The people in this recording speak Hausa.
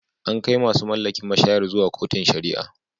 An kai masu mallakin mashayar zuwa kotun sharia.